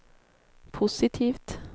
positivt